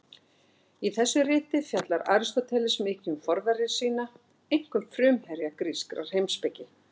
Í þessu riti fjallar Aristóteles mikið um forvera sína, einkum frumherja grískrar heimspeki.